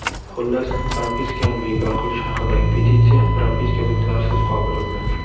Xullas, propiskani bekor qilish haqidagi petitsiya ‘propiska’ so‘zlarisiz qoldirildi.